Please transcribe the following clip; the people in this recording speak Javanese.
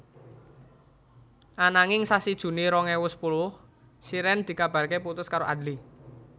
Ananging sasi Juni rong ewu sepuluh Shireen dikabarake putus karo Adly